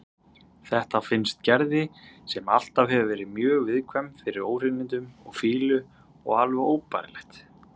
Þetta finnst Gerði, sem alltaf hefur verið mjög viðkvæm fyrir óhreinindum og fýlu, alveg óbærilegt.